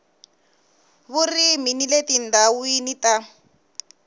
vurimi ni le tindhawini ta